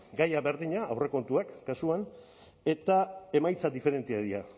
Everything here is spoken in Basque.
gaia berdina aurrekontuak kasuan eta emaitza diferenteak dira